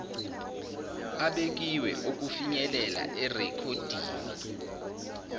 abekiwe okufinyelela erekhoddini